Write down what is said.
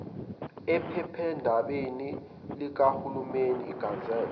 ephephandabeni likahulumeni igazette